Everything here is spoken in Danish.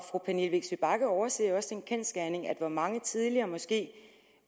fru pernille vigsø bagge overser jo også den kendsgerning at hvor mange tidligere måske